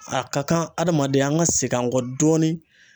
A ka kan adamaden an ka segin an kɔ dɔɔni.